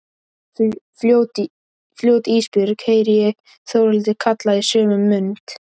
Fljót Ísbjörg, heyri ég Þórhildi kalla í sömu mund.